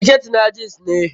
Siket na jeans ne?